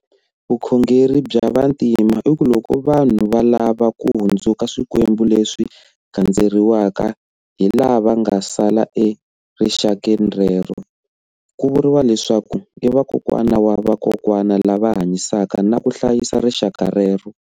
Vukhongeri bya Vantima i ku loko vanhu va lava va hundzuka swikwembu leswi gandzeriwaka hi lava nga sala erixakeni rero. Ku vuriwa leswaku i vakokwana wa vakokwana lava hanyisaka na ku hlayisa rixaka rero.